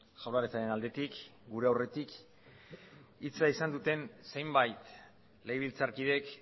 jaurlaritzaren aldetik gure aurretik hitza izan duten zenbait legebiltzarkideek